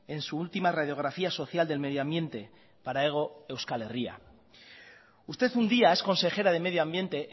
en su última radiografía social del medio ambiente para hego euskal herria usted un día es consejera de medio ambiente